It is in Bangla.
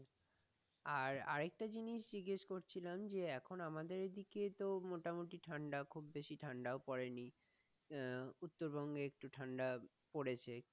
আর আরেকটা জিনিস জিজ্ঞেস করছিলাম যে এখন আমাদের দিকে মোটামুটু ঠান্ডা, খুব বেশি ঠান্ডা পড়েনি, আহ উত্তরবঙ্গে একটু ঠান্ডা পড়েছে,